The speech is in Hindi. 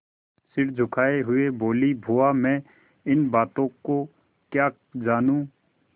सिर झुकाये हुए बोलीबुआ मैं इन बातों को क्या जानूँ